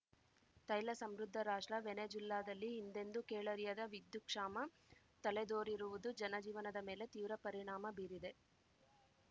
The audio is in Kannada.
ತೈಲ ಸಮೃದ್ಧ ರಾಷ್ಟ್ರ ವೆನೆಜುಲ್ಲಾದಲ್ಲಿ ಹಿಂದೆಂದೂ ಕೇಳರಿಯದ ವಿದ್ಯುತ್ ಕ್ಷಾಮ ತಲೆದೋರಿರುವುದು ಜನಜೀವನದ ಮೇಲೆ ತೀವ್ರ ಪರಿಣಾಮ ಬೀರಿದೆ